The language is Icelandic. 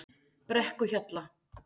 Brekkuhjalla